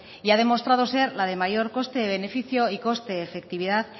y ha demostrado ser la de mayor coste beneficio y coste efectividad